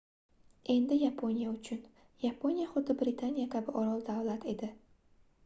endi yaponiya uchun yaponiya xuddi britaniya kabi orol-davlat edi